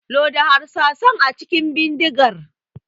Loda harsasan a cikin bidigar.